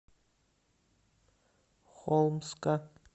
холмска